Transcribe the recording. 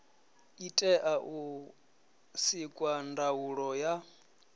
itea u sikwa ndaulo ya